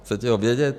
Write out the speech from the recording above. Chcete ho vědět?